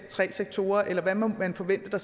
tre sektorer eller hvad må man forvente sker